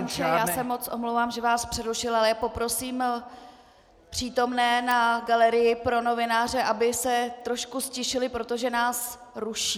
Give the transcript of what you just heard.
Pane poslanče, já se moc omlouvám, že vás přerušuji, ale poprosím přítomné na galerii pro novináře, aby se trošku ztišili, protože nás ruší.